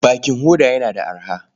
Bakin hoda yana da arha.